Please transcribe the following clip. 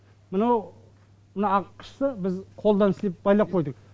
мынау мына ақ қышты біз қолдан істеп байлап қойдық